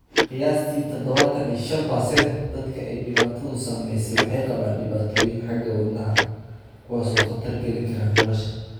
Qiyaastii 75% dadka ay dhibaatadu saameysey waxay qabaan dhibaatooyin xagga wadnaha ah, kuwaas oo khatar gelin kara nolosha.